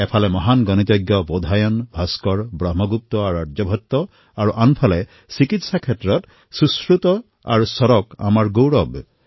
এফালে মহান গণিতজ্ঞ বোধায়ন ভাস্কৰ ব্ৰহ্মগুপ্ত আৰু আৰ্যভট্টৰ পৰম্পৰা আছে যদি আনফালে চিকিৎসা ক্ষেত্ৰত সুশ্ৰুত আৰু চৰক আমাৰ গৌৰৱ হয়